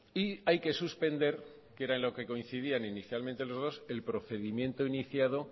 y hay que suspender que era en lo que coincidían inicialmente los dos el procedimiento iniciado